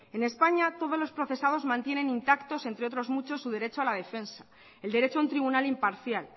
en españa todos los procesados mantienen intactos entre otros muchos su derecho a la defensa el derecho a un tribunal imparcial